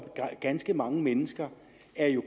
at ganske mange mennesker